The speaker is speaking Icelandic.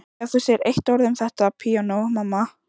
Ef þú segir eitt orð um þetta píanó, mamma.